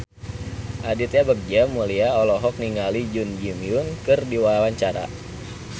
Aditya Bagja Mulyana olohok ningali Jun Ji Hyun keur diwawancara